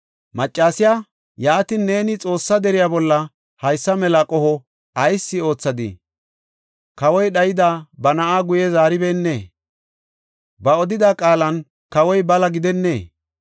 Maccasiya, “Yaatin, neeni Xoossa deriya bolla haysa mela qoho ayis oothadii? Kawoy dhayida ba na7aa guye zaaribeenna. Ba odida qaalan kawoy bala gidennee?